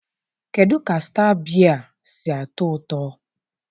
kedu ka Star biya si atọ ụtọ?